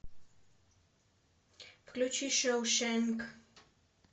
включи шоушенк